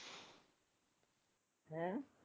ਹੈਂ?